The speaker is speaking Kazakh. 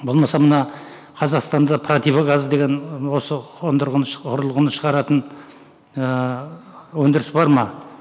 болмаса мына қазақстанда противогаз деген осы қондырғыны ұрылғыны шығаратын ііі өндіріс бар ма